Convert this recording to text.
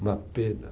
Uma pena.